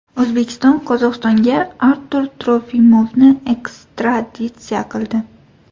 O‘zbekiston Qozog‘istonga Artur Trofimovni ekstraditsiya qildi.